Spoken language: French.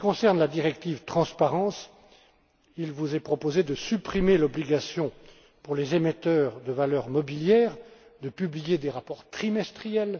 En ce qui concerne la directive Transparence, il vous est proposé de supprimer l'obligation pour les émetteurs de valeurs mobilières de publier des rapports trimestriels.